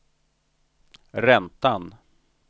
räntan